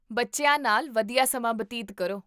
ਬੱਚਿਆਂ ਨਾਲ ਵਧੀਆ ਸਮਾਂ ਬਤੀਤ ਕਰੋ